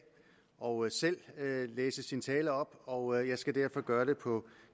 og selv læse sin tale op og jeg skal derfor gøre det på